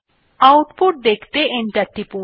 output দেখতে enter টিপুন